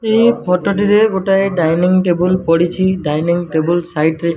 ଏହି ଫଟୋ ଟିରେ ଗୋଟାଏ ଡାନିଙ୍ଗ୍ ଟେବୁଲ ପଡିଚିଡାନିଙ୍ଗ୍ ଟେବୁଲ ସାଇଟ୍ ରେ --